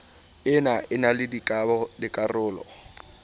ena e na le dikarolo